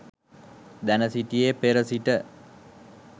දැන සිටියේ පෙර සිට